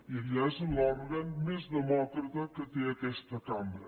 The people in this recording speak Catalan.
que allà és l’òrgan més demòcrata que té aquesta cambra